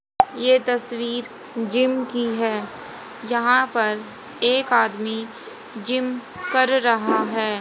ये तस्वीर जिम की है। जहां पर एक आदमी जिम कर रहा है।